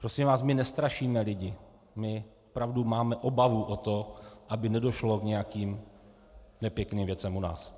Prosím vás, my nestrašíme lidi, my opravdu máme obavu o to, aby nedošlo k nějakým nepěkným věcem u nás.